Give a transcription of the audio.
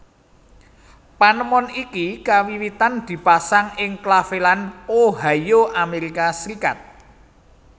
Panemon iki kawiwitan dipasang ing Claveland Ohio Amerika Serikat